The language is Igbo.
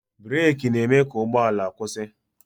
breeki na-e mee ka ụgbọala kwụsị